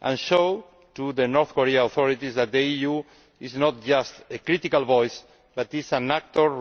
and show the North Korean authorities that the EU is not just a critical voice but an actor